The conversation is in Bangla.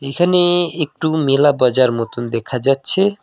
এখানে একটু মেলা বাজার মতোন দেখা যাচ্ছে।